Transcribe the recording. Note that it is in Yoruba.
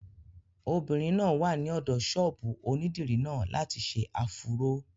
Obìnrin náà wà ní ọ̀dọ̀ ṣọ́ọ̀bù onídìrí náà láti ṣe áfúró